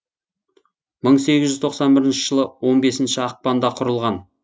мың сегіз жүз тоқсан бірінші жылы он бесінші ақпанда құрылған